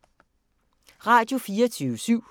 Radio24syv